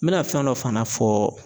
N bɛna fɛn dɔ fana fɔ